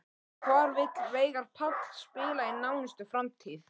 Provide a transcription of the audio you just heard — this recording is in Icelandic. Og hvar vill Veigar Páll spila í nánustu framtíð?